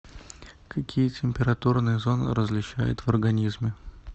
какие температурные зоны различают в организме